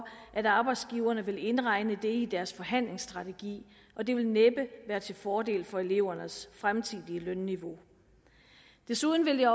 at arbejdsgiverne vil indregne det i deres forhandlingsstrategi og det vil næppe være til fordel for elevernes fremtidige lønniveau desuden vil